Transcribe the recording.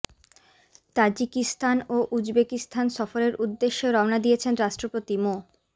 Tajikistan ও Uzbekistan সফরের উদ্দেশে রওনা দিয়েছেন রাষ্ট্রপতি মো